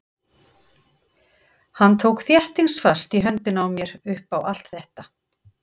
Hann tók þéttingsfast í höndina á mér upp á allt þetta.